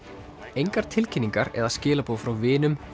engar tilkynningar eða skilaboð frá vinum